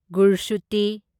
ꯒꯨꯔꯁꯨꯇꯤ